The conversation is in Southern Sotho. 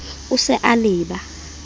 o e sa le ba